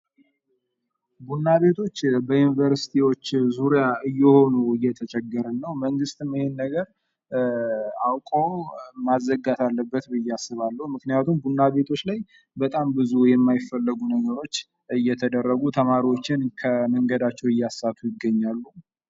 ቡና ቤቶች ለግል ስብሰባዎች፣ ለሥራ ውይይቶች ወይም ጸጥ ብሎ ለመሥራት ምቹ ሲሆኑ ምግብ ቤቶች ለቤተሰብ ምሳ/እራት ተስማሚ ናቸው